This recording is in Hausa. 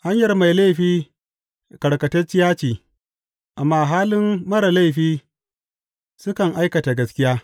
Hanyar mai laifi karkatacciya ce, amma halin marar laifi sukan aikata gaskiya.